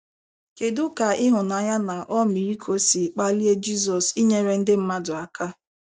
Kedụ ka ịhụnanya na ọmịiko si kpalie Jizọs ịnyere ndị mmadụ aka?